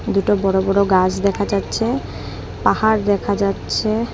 দুটো বড় বড় গাস দেখা যাচ্ছে পাহাড় দেখা যাচ্ছে।